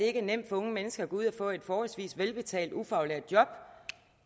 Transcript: er nemt for unge mennesker at gå ud og få et forholdsvis velbetalt ufaglært job